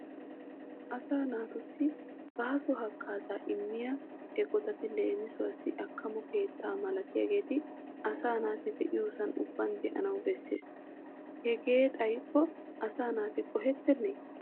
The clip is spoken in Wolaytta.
Asaa naatussi baaso haggaazaa immiya eqotati leemisuwaassi akkamo keettaa malatiyageeti asaa naati de'iyoosan ubban de'anawu besses. Hegee xayikko asaa naati qohettennee?